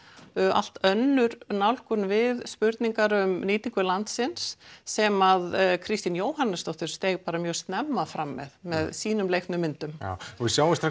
allt önnur nálgun við spurningar um nýtingu landsins sem Kristín Jóhannesdóttir steig mjög snemma fram með með sínum leiknu myndum já við sjáum strax